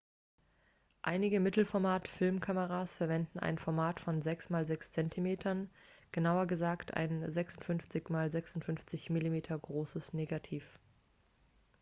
einige mittelformat-filmkameras verwenden ein format von 6 x 6 cm genauer gesagt ein 56 x 56 mm großes negativ